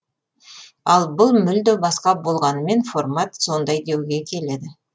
ал бұл мүлде басқа болғанымен формат сондай деуге келеді